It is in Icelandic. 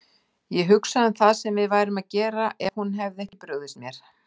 Ég hugsa um það sem við værum að gera ef hún hefði ekki brugðist mér.